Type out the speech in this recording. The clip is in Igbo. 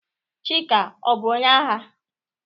Chika ọ bu onye agha?